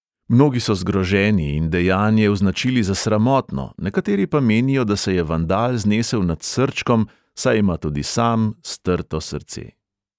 Mnogi so zgroženi in dejanje označili za sramotno, nekateri pa menijo, da se je vandal znesel nad srčkom, saj ima tudi sam strto srce.